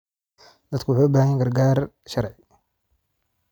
Dadku waxay u baahan yihiin gargaar sharci.